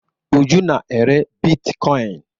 Uju na-ere bitkoịn.